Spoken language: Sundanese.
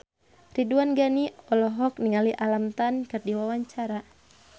Ridwan Ghani olohok ningali Alam Tam keur diwawancara